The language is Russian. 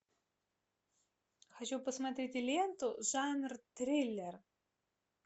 хочу посмотреть ленту жанр триллер